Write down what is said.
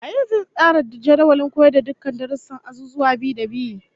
Waye zai tsara jadawalin koyar da dukkan darussan azuzuwa bi-da-bi?